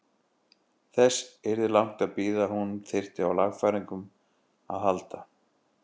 Þess yrði langt að bíða að hún þyrfti á lagfæringum að halda.